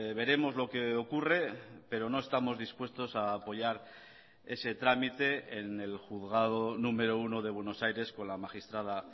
veremos lo que ocurre pero no estamos dispuestos a apoyar ese trámite en el juzgado número uno de buenos aires con la magistrada